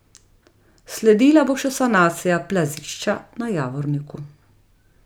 Sledila bo še sanacija plazišča na Javorniku.